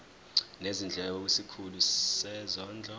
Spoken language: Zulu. nezindleko kwisikhulu sezondlo